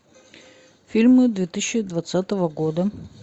фильмы две тысячи двадцатого года